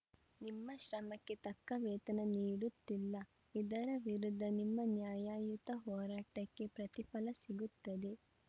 ನಿಮ್ಮ ಶ್ರಮಕ್ಕೆ ತಕ್ಕ ವೇತನ ನೀಡುತ್ತಿಲ್ಲ ಇದರ ವಿರುದ್ದ ನಿಮ್ಮ ನ್ಯಾಯಯುತ ಹೋರಾಟಕ್ಕೆ ಪ್ರತಿಫಲ ಸಿಗುತ್ತದೆ